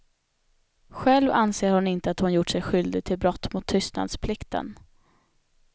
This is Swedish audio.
Själv anser hon inte att hon gjort sig skyldig till brott mot tystnadsplikten.